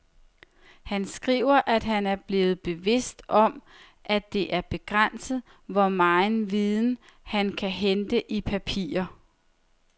Han skriver, at han er blevet mere bevidst om, at det er begrænset, hvor megen viden, man kan hente i papirer.